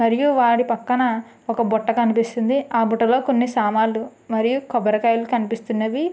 మరియు వాడి పక్కన ఒక బుట్ట కనిపిస్తుంది ఆ బుట్టలో కొన్ని సామాన్లు మరియు కొబ్బరికాయలు కనిపిస్తున్నవి.